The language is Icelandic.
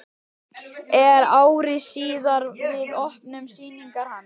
Er ári síðar við opnun sýningar hans.